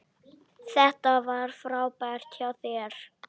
Þetta var frábært hjá þér!